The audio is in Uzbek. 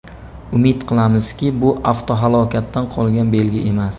Umid qilamizki, bu avtohalokatdan qolgan belgi emas.